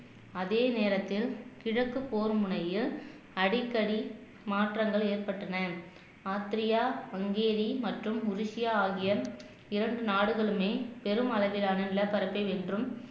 அதே நேரத்தில் கிழக்கு போர் முனையில் அடிக்கடி மாற்றங்கள் ஏற்பட்டன ஆஸ்தேரியா ஹங்கேரி மற்றும் ஒடிசியா ஆகிய இரண்டு நாடுகளுமே பெரும் அளவிலான நிலப்பரப்பை வென்றும்